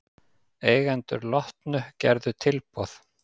Eigendur Lotnu gerðu tilboð